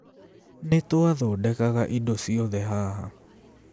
Nĩ twathondekaga indo ciothe haha.